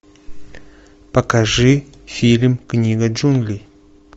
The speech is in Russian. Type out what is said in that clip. покажи фильм книга джунглей